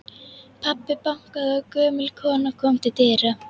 Pabbi bankaði og gömul kona kom til dyra.